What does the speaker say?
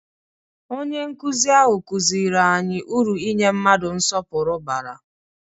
Onye nkuzi ahụ kụziri anyị uru inye mmadụ nsọpụrụ bara.